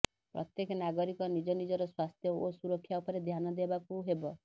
ପ୍ରତ୍ୟେକ ନାଗରିକ ନିଜେ ନିଜର ସ୍ୱାସ୍ଥ୍ୟ ଓ ସୁରକ୍ଷା ଉପରେ ଧ୍ୟାନ ଦେବାକୁ ହେବ